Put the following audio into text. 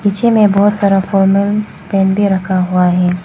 पीछे में बहुत सारा फॉर्मल पैंट भी रखा हुआ है।